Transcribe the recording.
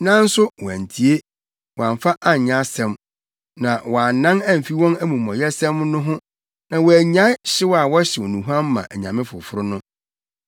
Nanso wɔantie, wɔamfa anyɛ asɛm, na wɔannan amfi wɔn amumɔyɛsɛm no ho na wɔannyae hyew a wɔhyew nnuhuam ma anyame foforo no.